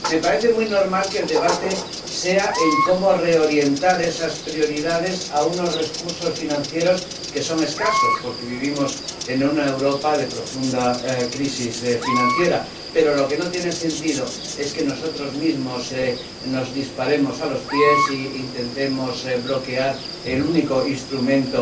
Me parece muy normal que el tema del debate sea cómo reorientar esas prioridades a unos recursos financieros que son escasos, porque vivimos en una Europa con profunda crisis financiera, pero lo que no tiene sentido es que nosotros mismos nos disparemos a los pies e intentemos bloquear el único instrumento